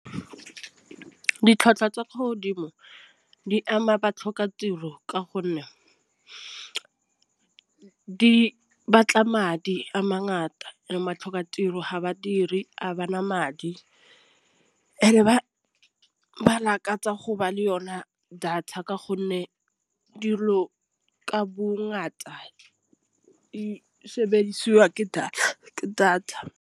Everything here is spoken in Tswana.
Ditlhwatlhwa tsa kwa godimo di ama batlhoka tiro ka gonne di batla madi a mangata a batlhoka tiro ga badiri ga bana madi. Ba lakatsa go ba le yona data ka gonne dilo ka bongata sebediswa ke data.